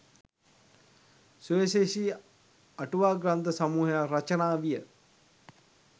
සුවිශේෂි අටුවා ග්‍රන්ථ සමූහයක් රචනා විය.